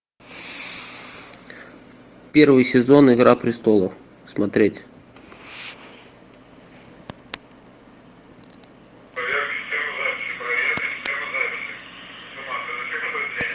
первый сезон игра престолов смотреть